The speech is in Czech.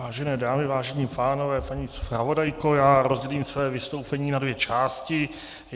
Vážené dámy, vážení pánové, paní zpravodajko, já rozdělím své vystoupení na dvě části.